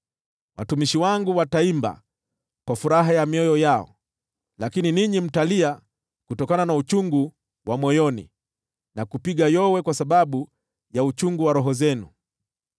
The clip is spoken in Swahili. Watumishi wangu wataimba kwa furaha ya mioyo yao, lakini ninyi mtalia kutokana na uchungu wa moyoni, na kupiga yowe kwa sababu ya uchungu wa roho zenu.